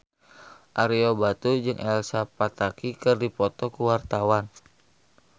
Ario Batu jeung Elsa Pataky keur dipoto ku wartawan